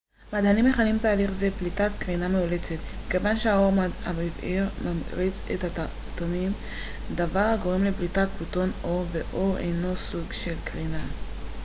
מדענים מכנים תהליך זה פליטת קרינה מאולצת מכיוון שהאור הבהיר ממריץ את האטומים דבר הגורם לפליטת פוטון אור ואור הינו סוג של קרינה